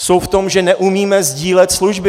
Jsou v tom, že neumíme sdílet služby.